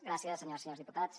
gràcies senyores i senyors diputats